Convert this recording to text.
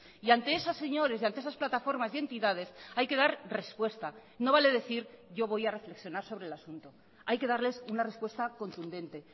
y ante esos señores y ante esas plataformas y entidades hay que dar respuesta no vale decir yo voy a reflexionar sobre el asunto hay que darles una respuesta contundente